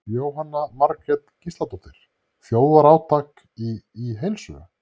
Jóhanna Margrét Gísladóttir: Þjóðarátak í, í heilsu?